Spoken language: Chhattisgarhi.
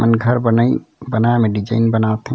ये मन घर बनाई बनाय म डिजाइन बनात हे।